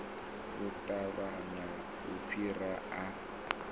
u ṱavhanya u fhira a